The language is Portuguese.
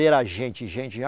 E era gente, gente, já.